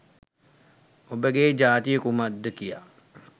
ඔබගේ ජාතිය කුමක්ද කියා